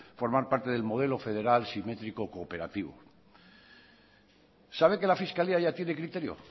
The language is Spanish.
formar parte del modelo federal simétrico cooperativo sabe que la fiscalía ya tiene criterio